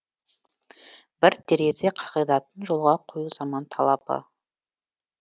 бір терезе қағидатын жолға қою заман талабы